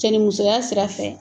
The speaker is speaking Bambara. Cɛnnimusoya sira fɛ